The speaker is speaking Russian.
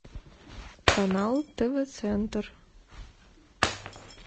канал тв центр